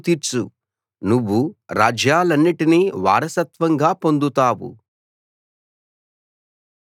దేవా లేచి భూమికి తీర్పు తీర్చు నువ్వు రాజ్యాలన్నిటినీ వారసత్వంగా పొందుతావు